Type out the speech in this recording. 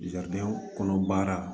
kɔnɔ baara